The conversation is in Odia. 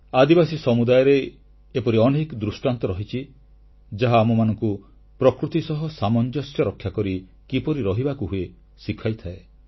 ଆଦିବାସୀ ସମୁଦାୟରେ ଏପରି ଅନେକ ଦୃଷ୍ଟାନ୍ତ ରହିଛି ଯାହା ଆମମାନଙ୍କୁ ପ୍ରକୃତି ସହ ସାମଞ୍ଜସ୍ୟ ରକ୍ଷାକରି କିପରି ରହିବାକୁ ହୁଏ ଶିଖାଇଥାଏ